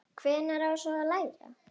Hvenær á svo að læra?